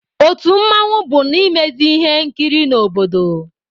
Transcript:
Otu mmanwụ bụ na-emezị ihe nkiri n'obodo